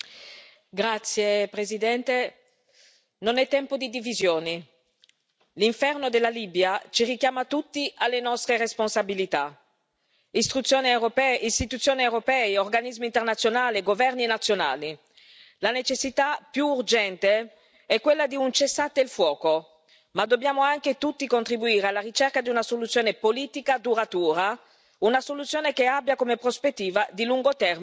Signora Presidente, onorevoli colleghi, non è tempo di divisioni. L'inferno della Libia ci richiama tutti alle nostre responsabilità istituzioni europee, organismi internazionali e governi nazionali. La necessità più urgente è quella di un cessate il fuoco, ma dobbiamo anche tutti contribuire alla ricerca di una soluzione politica duratura,